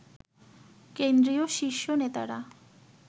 কেন্দ্রীয় শীর্ষ নেতারা